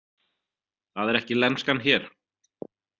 Það er ekki lenskan hér.